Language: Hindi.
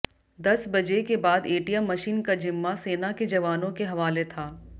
दस बजे के बाद एटीएम मशीन का जिम्मा सेना के जवानों के हवाले था